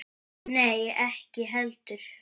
Nei, ekki heldur.